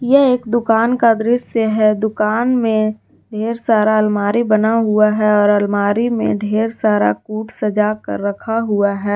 यह एक दुकान का दृश्य है दुकान में ढेर सारा अलमारी बना हुआ है और अलमारी में ढेर सारा कुट सजा कर रखा हुआ है।